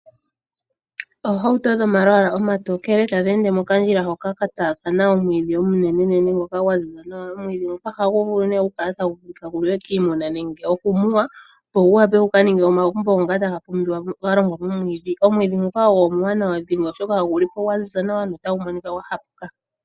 Oohauto dhomalwaala omatokele tadhi ende mokandjila hoka ka taakana omwiidhi omunenenene ngoka gwa ziza nawa. Omwiidhi nguka ohagu vulu nee okukala tagu liwa kiimuna nenge okumuwa opo guwape gukaninge omagumbo ngono galongwa momwiidhi. Omwiidhi nguka ogo omwaanawa dhingi oshoka ogulipo gwa ziza nawa notagu monika gwa hapa